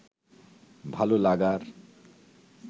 ভালো লাগার